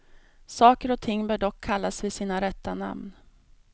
Saker och ting bör dock kallas vid sina rätta namn.